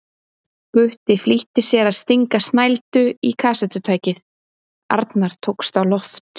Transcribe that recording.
Gutti flýtti sér að stinga snældu í kassettutækið, Arnar tókst á loft.